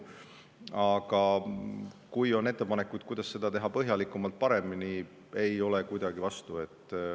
Aga kui on ettepanekuid, kuidas seda teha põhjalikumalt, paremini, siis ma ei ole sellele kuidagi vastu.